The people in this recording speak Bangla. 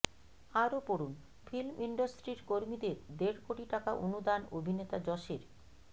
আরও পড়ুন ফিল্ম ইন্ডস্ট্রির কর্মীদের দেড় কোটি টাকা অনুদান অভিনেতা যশের